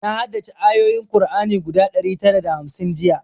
Na haddace ayoyin kur'ani guda ɗari tara da hamsin jiya